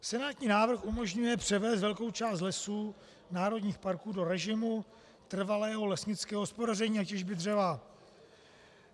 Senátní návrh umožňuje převést velkou část lesů národních parků do režimu trvalého lesnického hospodaření a těžby dřeva.